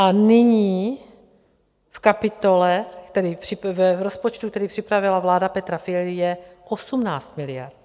A nyní v kapitole, v rozpočtu, který připravila vláda Petra Fialy, je 18 miliard.